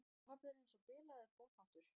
Pabbi er eins og bilaður boðháttur.